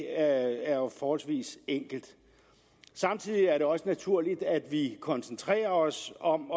er jo forholdsvis enkelt samtidig er det også naturligt at vi koncentrerer os om